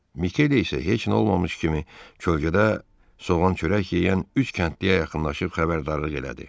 Mikele isə heç nə olmamış kimi kölgədə soğan çörək yeyən üç kəndliyə yaxınlaşıb xəbərdarlıq elədi.